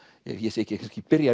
ég segi ekki kannski byrja